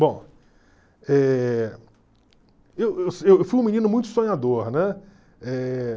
Bom, eh eu fui um menino muito sonhador, né?